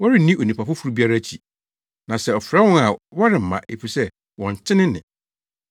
Wɔrenni onipa foforo biara akyi. Na sɛ ɔfrɛ wɔn a wɔremma, efisɛ wɔnte ne nne.”